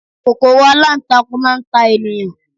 kòkòrò alantakun ma n ta eniyan